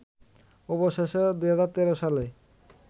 অবশেষে ২০১৩ সালে